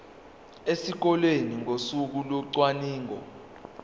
esikoleni ngosuku locwaningo